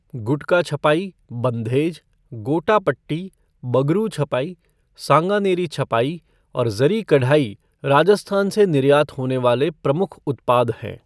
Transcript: गुटका छपाई, बन्धेज, गोटापट्टी, बगरू छपाई, सांगानेरी छपाई और ज़री कढ़ाई राजस्थान से निर्यात होने वाले प्रमुख उत्पाद हैं।